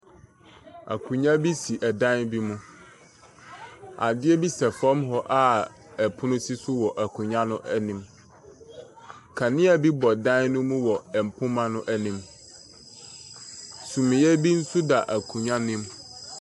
Akonwa bi si ɛdan bi mu. Adeɛ bi sɛ fam hɔ a ɛpono si wɔ akonwa no anim. Kanea bi bɔ dan no mu wɔ mpoma no anim. Suneɛ bi nso da akonwa no anim.